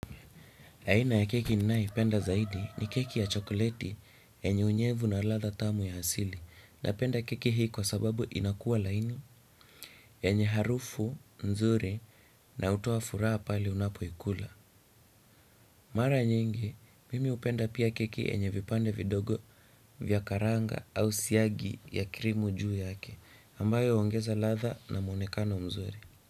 Aina ya keki ninayoipenda zaidi ni keki ya chokoleti yenye unyevu na latha tamu ya asili napenda keki hii kwa sababu inakuwa laini yenye harufu, nzuri na hutoa furaha pale unapoikula. Mara nyingi, mimi hupenda pia keki yenye vipande vidogo vya karanga au siagi ya krimu juu yake ambayo huongeza latha na muonekano mzuri.